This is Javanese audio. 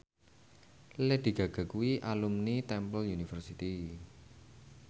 Lady Gaga kuwi alumni Temple University